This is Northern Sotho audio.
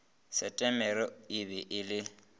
setemere e be e le